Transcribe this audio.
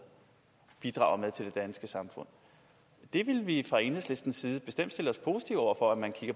bidrager med til det danske samfund vi vil fra enhedslistens side bestemt stille os positive over for